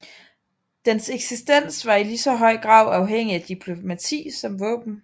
Dens eksistens var i ligeså høj grad afhængig af diplomati som våben